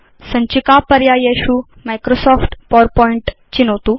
सञ्चिका पर्यायेषु Microsoft PowerPoint चिनोतु